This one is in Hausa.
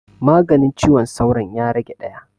Maganin ciwon sauron ya rage ɗaya